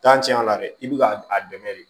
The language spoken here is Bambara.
tiɲɛ yɛrɛ la dɛ i bɛ ka a dɛmɛ de